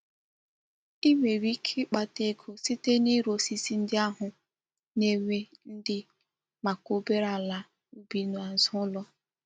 I nwere ike ikpata ego site n'ire osisi ndi ahu na-enwe ndi maka obere ala ubi n'azu ulo.